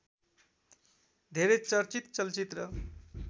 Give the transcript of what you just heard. धेरै चर्चित चलचित्र